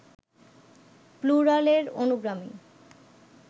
plural এর অনুগামী